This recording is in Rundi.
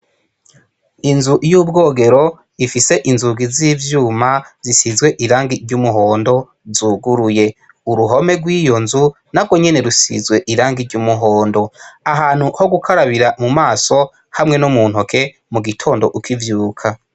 Inzu y’ubwogero ifise inzugi zivyuma zisizwe irangi ry' umuhondo zuguruye , uruhome rwiyonzu narwonyene ruzizwe irangi ry' umuhondo, ahantu hogukarabira mumaso hamwe no muntoke mugitondo ukivyuka.